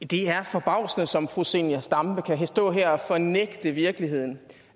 det er forbavsende som fru zenia stampe kan stå her og fornægte virkeligheden